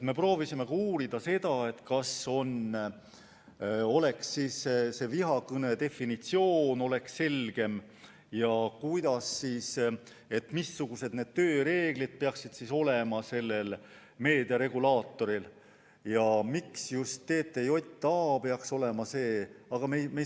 Me proovisime uurida, kas oleks võimalik vihakõne definitsiooni selgemaks muuta ja missugused tööreeglid peaksid olema sellel meediaregulaatoril ja miks just TTJA peaks see olema.